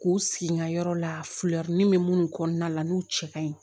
K'u sigi ŋa yɔrɔ la bɛ minnu kɔnɔna la n'u cɛ ka ɲi